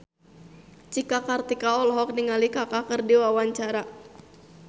Cika Kartika olohok ningali Kaka keur diwawancara